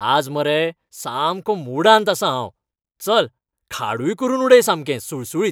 आज मरे सामकों मुडांत आसां हांव. चल, खाडूय करून उडय सामकें सुळसुळीत.